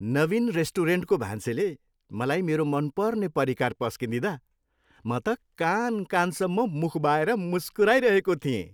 नवीन रेस्टुरेन्टको भान्सेले मलाई मेरो मनपर्ने परिकार पस्किदिँदा म त कान कानसम्म मुख बाएर मुस्कुराइरहेको थिएँ।